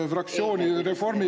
Minu arvates on see praegu probleem.